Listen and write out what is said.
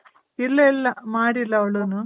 ಇಲ್ಲ ಇಲ್ಲ ಮಾಡಿಲ್ಲ ಅವ್ಳುನು .